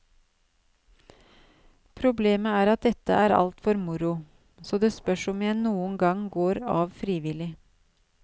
Problemet er at dette er alt for moro, så det spørs om jeg noen gang går av frivillig.